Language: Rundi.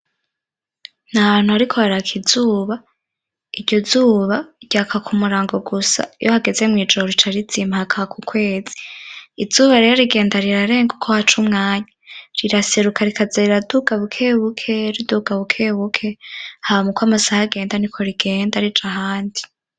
N’ahantu hariko haraka izuba, iryo zuba ryaka ku murango gusa iyo hageze mwijoro rica rizima hakaka ukwezi. Izuba rero rigenda rirarenga uko haca umwanya, riraseruka rikaza riraduga bukebuke riduga bukebuke hama uko amasaha agenda niko rigenda rija ahandi.